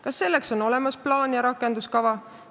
Kas selleks on olemas plaan ja rakenduskava?